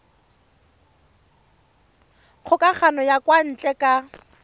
kgokagano ya kwa ntle ka